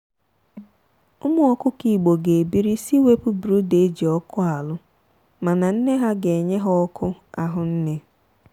ụmụ ọkụkọ igbo ga ebiri si wepụ brooder eji ọkụ alụ mana nne ha ga enye ha ọkụ ahụnne.